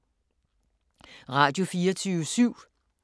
Radio24syv